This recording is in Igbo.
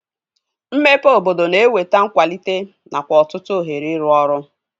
Mmepe obodo na-eweta nkwalite nakwa ọtụtụ ohere ịrụ ọrụ